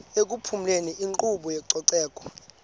ekuphumezeni inkqubo yezococeko